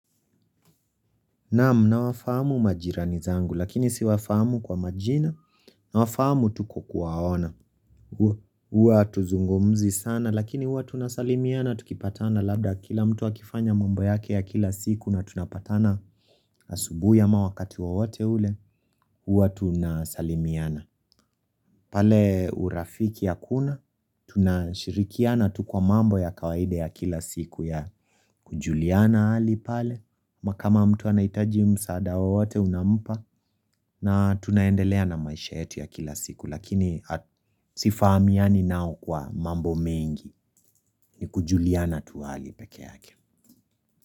Naam nawafahamu majirani zangu lakini siwafahamu kwa majina nawafahamu tu kwa kuwaona. Huwa hatuzungumzi sana lakini huwa tunasalimiana tukipatana labda kila mtu akifanya mambo yake ya kila siku na tunapatana asubuhi ama wakati wowote ule huwa tunasalimiana. Pale urafiki hakuna, tunashirikiana tu kwa mambo ya kawaida ya kila siku ya kujuliana hali pale, na kama mtu anahitaji msaada wowote unampa, na tunaendelea na maisha yetu ya kila siku, lakini sifahamiani nao kwa mambo mengi ni kujuliana tu hali peke yake.